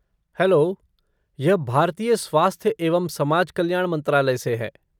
Hello! यह भारतीय स्वास्थ्य एवं समाज कल्याण मंत्रालय से है।